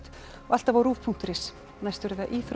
og alltaf á rúv punktur is næst eru það íþróttir